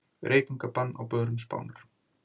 Reykingabann á börum Spánar